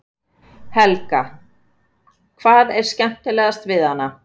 Helga: Hvað er skemmtilegast við hana?